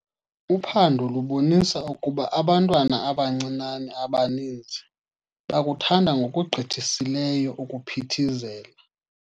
Uphando lubonise ukuba abantwana abancinane abaninzi bakuthanda ngokugqithisileyo ukuphithizela.